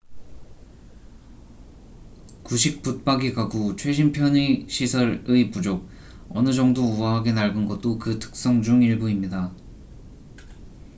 구식 붙박이 가구 최신 편의 시설의 부족 어느 정도 우아하게 낡은 것도 그 특성 중 일부입니다